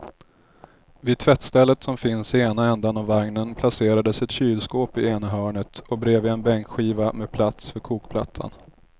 Vid tvättstället som finns i ena ändan av vagnen placerades ett kylskåp i ena hörnet och bredvid en bänkskiva med plats för kokplattan.